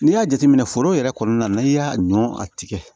N'i y'a jateminɛ foro yɛrɛ kɔnɔna na n'i y'a ɲɔ a tigɛ